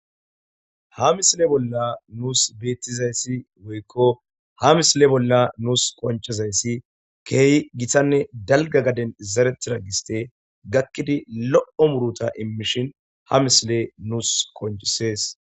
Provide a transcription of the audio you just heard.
ha misile bolla nuus beettizayssi woykko ha misile bolla nuus qonchizayssi keehi gitanne dalga gaden zaretira giste gakkidi lo7o muruta immishin ha misile nuus qonchisees